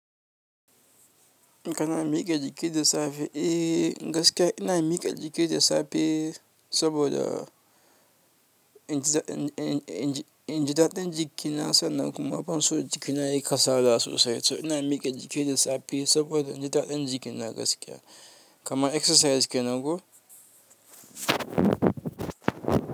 Kana miƙe jiki da safe? Eh gaskiya ina miƙa jiki da safe saboda inji, inji, inji, inji daɗin jiki na sannan kuma ban so jikina yayi kasala sosai. So ina miƙa jiki da safe saboda inji daɗin jiki na gaskiya kama exercise kenan ko?